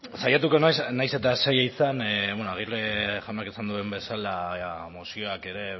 saiatuko naiz nahiz eta zaila izan bueno aguirre jaunak esan duen bezala mozioek ere